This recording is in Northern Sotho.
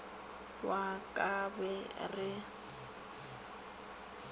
wa ka ba re re